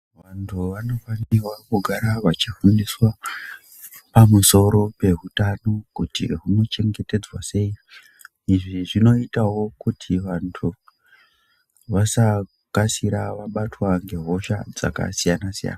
Vantu vanofanira kugara vachifundiswa pamusoro pehutano kuti hunochengetedzwa sei. Izvi zvinotavo kuti vantu vasakasira vabatwa ngehosha dzakasiyana-siyana.